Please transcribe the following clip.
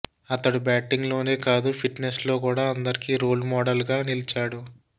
అతడు బ్యాటింగ్లోనే కాదు ఫిటినెస్లో కూడా అందరికి రోల్ మోడల్గా నిలిచాడు